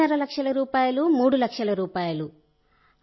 రెండున్నర లక్షల రూపాయలు మూడు లక్షల రూపాయలు